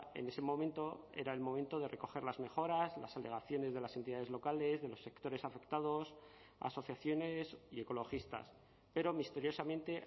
en ese momento era el momento de recoger las mejoras las alegaciones de las entidades locales de los sectores afectados asociaciones y ecologistas pero misteriosamente